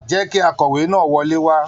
Jẹ kí akọwe náà wọlé wà!